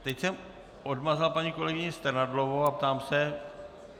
Teď jsem odmazal paní kolegyni Strnadlovou a ptám se...